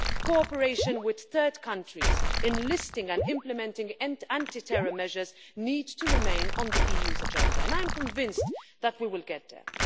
Cooperation with third countries in listing and implementing anti terror measures needs to remain on the EU's agenda, and I am convinced that we will get there.